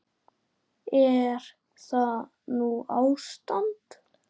Er það nú ástand!